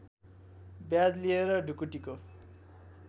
ब्याज लिएर ढुकुटीको